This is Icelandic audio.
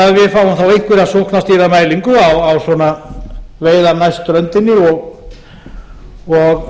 að við fáum þá einhverja sóknarstýrða mælingu á veiðar næst ströndinni og